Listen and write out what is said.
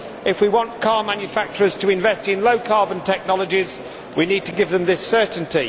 If we want car manufacturers to invest in low carbon technologies, we need to give them this certainty.